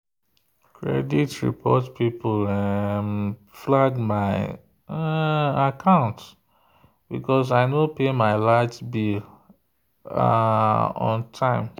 credit report people um flag my um account because i no pay my light bill um on time.